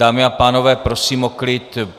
Dámy a pánové, prosím o klid.